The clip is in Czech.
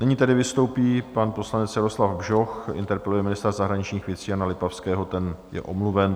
Nyní tedy vystoupí pan poslanec Jaroslav Bžoch, interpeluje ministra zahraničních věcí Jana Lipavského, ten je omluven.